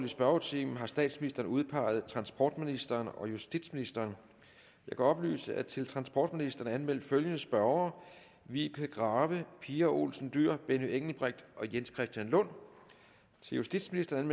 spørgetimen har statsministeren udpeget transportministeren og justitsministeren jeg kan oplyse at der til transportministeren er anmeldt følgende spørgere vibeke grave pia olsen dyhr benny engelbrecht jens christian lund til justitsministeren